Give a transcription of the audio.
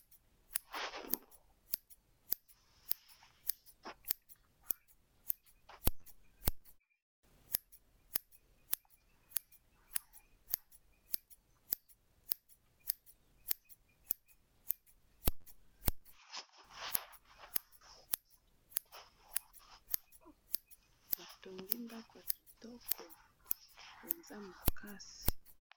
Batongi ndako kitoko penza makasi.